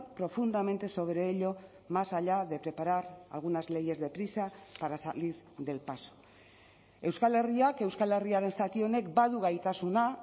profundamente sobre ello más allá de preparar algunas leyes deprisa para salir del paso euskal herriak euskal herriaren zati honek badu gaitasuna